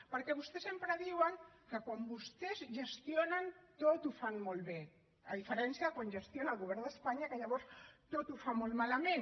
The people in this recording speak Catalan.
perquè vostès sempre diuen que quan vostès gestionen tot ho fan molt bé a diferència de quan gestiona el govern d’espanya que llavors tot ho fa molt malament